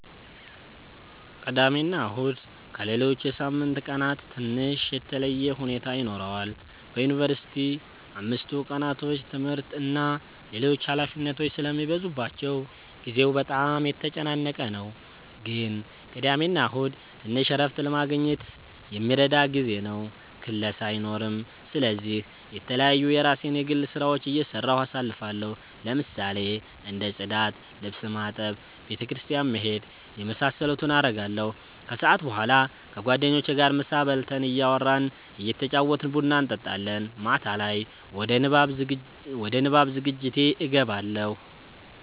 ቅዳሜና እሁድ ከሌሎች የሳምንት ቀናት ትንሽ የተለየ ሁኔታ ይኖረዋል በዩንቨርሲቲ አምስቱ ቀናቶች ትምህርት እና ሌሎች ኃላፊነቶች ስለሚበዙባቸው ጊዜው በጣም የተጨናነቀ ነው ግን ቅዳሜና እሁድ ትንሽ እረፍት ለማግኘት የሚረዳ ጊዜ ነው ክላስ አይኖርም ስለዚህ የተለያዩ የራሴን የግል ስራዎች እየሰራሁ አሳልፋለሁ ለምሳሌ እንደ ፅዳት፣ ልብስ ማጠብ፣ ቤተ ክርስቲያን መሄድ የመሳሰሉትን አረጋለሁ። ከሰዓት በኋላ ከጓደኞቼ ጋር ምሳ በልተን እያወራን እየተጫወትን ቡና እንጠጣለን። ማታ ላይ ወደ ንባብ ዝግጅቴ እገባለሁ።